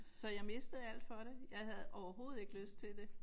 Så jeg mistede alt for det jeg havde overhovedet ikke lyst til det